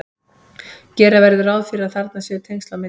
gera verður ráð fyrir að þarna séu tengsl á milli